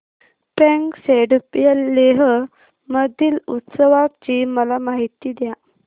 फ्यांग सेडुप या लेह मधील उत्सवाची मला माहिती द्या